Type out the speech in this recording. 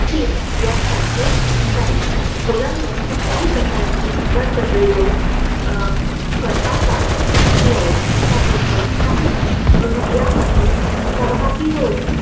हित यात साधले जाईल मुलांवर कुठल्याही प्रकारचे बळजबरीने करता कामा नये त्यांनी स्वतःहून यामध्ये सहभागी होऊन